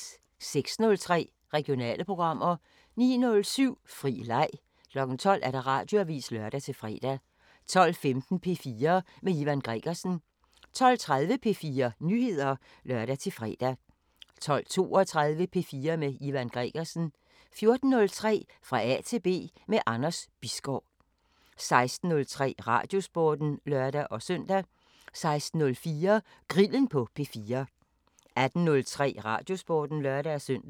06:03: Regionale programmer 09:07: Fri leg 12:00: Radioavisen (lør-fre) 12:15: P4 med Ivan Gregersen 12:30: P4 Nyheder (lør-fre) 12:32: P4 med Ivan Gregersen 14:03: Fra A til B – med Anders Bisgaard 16:03: Radiosporten (lør-søn) 16:04: Grillen på P4 18:03: Radiosporten (lør-søn)